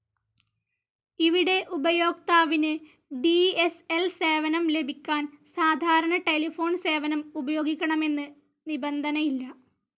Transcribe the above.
ഇവിടെ ഉപയോക്താവിന് DSL സേവനം ലഭിക്കാൻ സാധാരണ ടെലിഫോൺ സേവനം ഉപയോഗിക്കണമെന്ന് നിബന്ധനയില്ല.